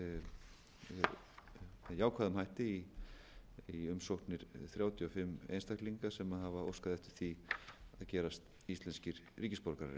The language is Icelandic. með jákvæðum hætti um umsóknir þrjátíu og fimm einstaklinga sem hafa óskað eftir því að gerast íslenskir ríkisborgarar